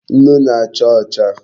Nnu na-acha ocha